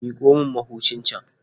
Miƙo min mahucin can.